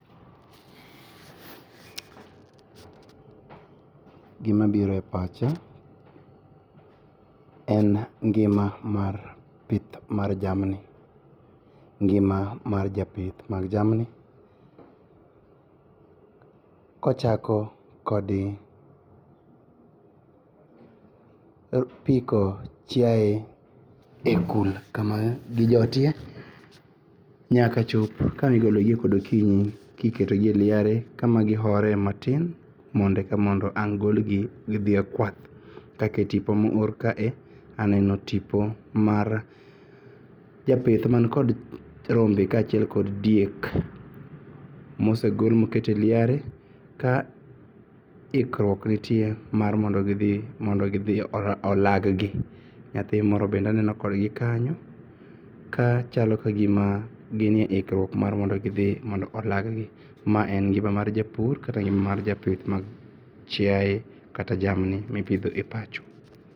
Gimabire pacha en ngima mar pith mar jamni. Ngima mar japith mar jamni kochako kod piko chiae e kul kama gijotie nyaka chop kama igologie kod okinyi kiketogi e liare kama gihore matin mondo ang' golgi gidhie kwath. Katetipo moro kae aneno tipo mar japith man kod rombe kachiel kod diek mosegol moketie liare ka ikruok nitie mar mondo gidhi olaggi. Nyathimoro bende aneno kodgi kanyo kachalo ka gima ginie ikruok mar mondo gidhi mondo olaggi. Ma en ngima mar japur kata japith mar jamni kata chiae mipidhe pacho.